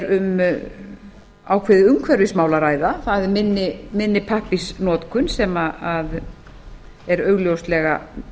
um ákveðið umhverfismál að ræða það er minni pappírsnotkun sem er augljóslega